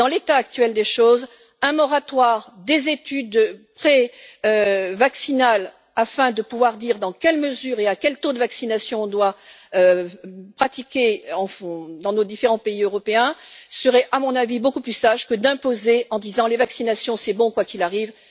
Dans l'état actuel des choses, un moratoire des études vaccinales, afin de pouvoir déterminer dans quelle mesure et à quel taux la vaccination doit être pratiquée, au fond, dans nos différents pays européens serait, à mon avis, beaucoup plus sage que d'imposer en disant Les vaccinations, c'est bon quoi qu'il arrive.